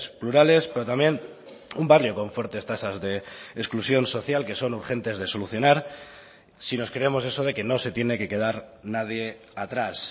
plurales pero también un barrio con fuertes tasas de exclusión social que son urgentes de solucionar si nos creemos eso de que no se tiene que quedar nadie atrás